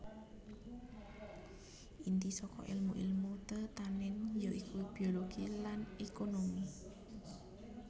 Inti saka èlmu èlmu tetanèn ya iku biologi lan ékonomi